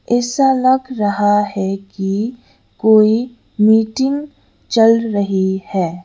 ऐसा लग रहा है कि कोई मीटिंग चल रही है।